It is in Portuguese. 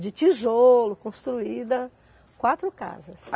De tijolo construída, quatro casas.